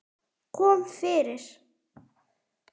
Kom fyrir.